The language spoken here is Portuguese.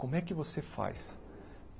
Como é que você faz?